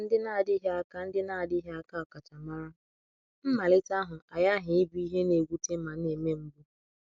Maka ndị na-adịghị aka ndị na-adịghị aka ọkachamara, mmalite ahụ aghaghị ịbụ ihe na-ewute ma na-eme mgbu.